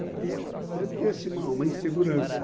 Então tinha assim, uma uma insegurança.